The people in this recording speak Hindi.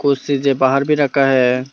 कुर्सी जे बाहर भी रखा है।